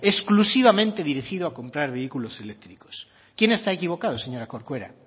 exclusivamente dirigido a comprar vehículos eléctricos quién está equivocado señora corcuera